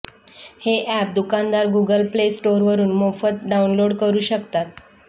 हे अॅप दुकानदार Google play स्टोरवरून मोफत डाउनलोड करू शकतात